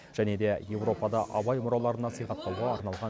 және де европада абай мұраларын насихаттауға арналған